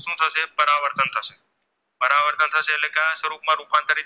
સ્વરૂપમાં રૂપાંતરિત